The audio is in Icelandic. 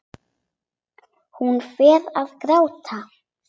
Hún fer að gráta.